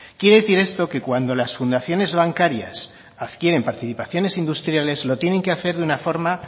quiere decir esto que cuando las fundaciones bancarias adquieren participaciones industriales lo tienen que hacer de una forma